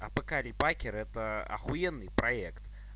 а пока репакер это ахуенный проект